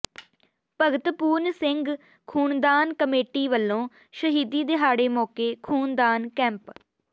ਭਗਤ ਪੂਰਨ ਸਿੰਘ ਖੂਨਦਾਨ ਕਮੇਟੀ ਵੱਲੋਂ ਸ਼ਹੀਦੀ ਦਿਹਾੜੇ ਮੌਕੇ ਖੂਨਦਾਨ ਕੈਂਪ